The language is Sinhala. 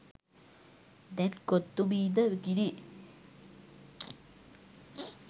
දැන් කොත්තු මී ද විකිණේ.